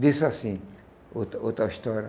Disse assim, outra outra história.